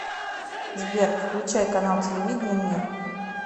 сбер включай канал телевидения мир